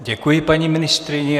Děkuji paní ministryni.